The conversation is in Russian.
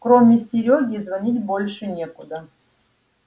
кроме серёги звонить больше некуда